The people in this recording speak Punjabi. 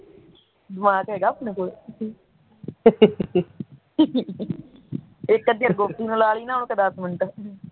ਦਿਮਾਗ ਹੈਗਾ ਆਪਣੇ ਕੋਲੋ ਇੱਕ ਅੱਧੀ ਗੋਪੀ ਨੂੰ ਲਾ ਲਈ ਦਸ ਮਿੰਟ